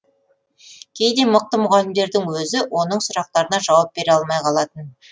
кейде мықты мұғалімдердің өзі оның сұрақтарына жауап бере алмай қалатын